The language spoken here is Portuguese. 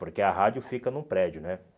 Porque a rádio fica num prédio, né?